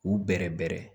U bɛ bɛrɛ bɛɛrɛ